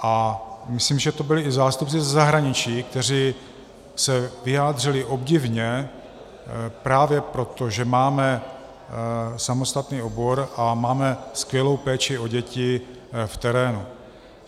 A myslím, že to byli i zástupci ze zahraničí, kteří se vyjádřili obdivně právě proto, že máme samostatný obor a máme skvělou péči o děti v terénu.